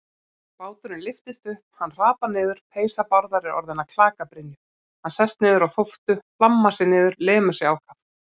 Báturinn lyftist upp, hann hrapar niður, peysa Bárðar er orðin að klakabrynju, hann sest niður á þóftu, hlammar sér niður, lemur sig ákaft.